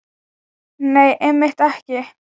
Nei, einmitt ekki.